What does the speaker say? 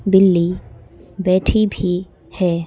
बिल्ली बैठी भी है।